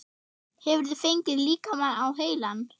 Hefurðu fengið líkamann á heilann?